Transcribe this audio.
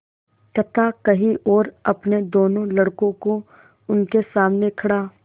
कथा कही और अपने दोनों लड़कों को उनके सामने खड़ा